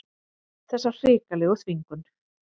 Þessa hrikalegu þvingun.